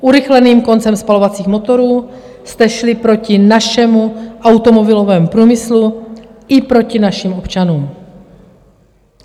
Urychleným koncem spalovacích motorů jste šli proti našemu automobilovému průmyslu i proti našim občanům.